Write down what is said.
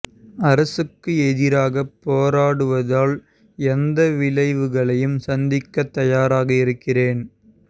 அரசுக்கு எதிராக போராடுவதால் எந்த விளைவுகளையும் சந்திக்க தயாராக இருக்கிறேன்